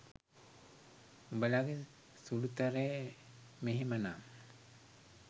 උඔලගෙ සුලුතරය මෙහෙම නම්